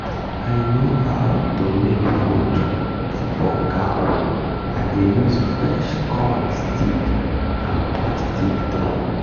i no how to make food for cow i dey use fresh corn stick and plastic drum